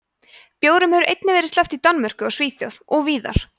bjórum hefur einnig verið sleppt í danmörku og svíþjóð og víðar